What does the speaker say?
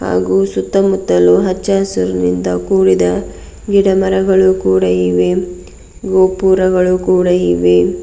ಹಾಗೂ ಸುತ್ತಮುತ್ತಲು ಹಚ್ಚ ಹಸುರಿನಿಂದ ಕೂಡಿದ ಗಿಡಮರಗಳು ಕೂಡ ಇವೆ ಗೋಪುರಗಳು ಕೂಡ ಇವೆ.